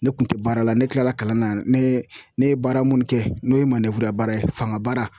Ne kun tɛ baara la ne tilala kalan na ne ne ye baara mun kɛ n'o ye baara ye fanga baara